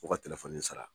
Fo ka sara